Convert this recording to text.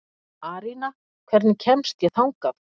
Arína, hvernig kemst ég þangað?